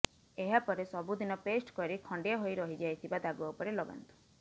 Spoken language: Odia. ଏହାପରେ ସବୁଦିନ ପେଷ୍ଟ କରି ଖଣ୍ଡିଆ ହୋଇ ରହିଯାଇଥିବା ଦାଗ ଉପରେ ଲଗାନ୍ତୁ